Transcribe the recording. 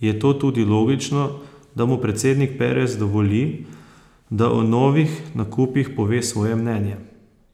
je to tudi logično, da mu predsednik Perez dovoli, da o novih nakupih pove svoje mnenje.